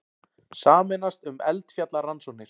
Sameinast um eldfjallarannsóknir